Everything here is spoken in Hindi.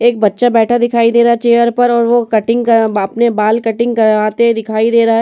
एक बच्चा बैठा दिखाई दे रहा है चेयर पर और वो कटिंग करा अपने बाल कटिंग कराते दिखाई दे रहा है।